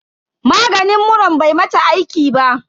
Maganin muran bai mata aiki ba.